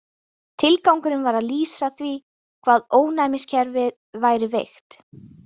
Tilgangurinn var að lýsa því hvað ónæmiskerfið væri veikt.